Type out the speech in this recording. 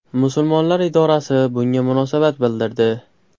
Musulmonlar idorasi bunga munosabat bildirdi.